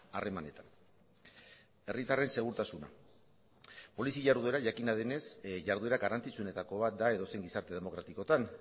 harremanetan herritarren segurtasuna polizia jarduera jakina denez jarduera garrantzitsuenetako bat da edozein gizarte demokratikotan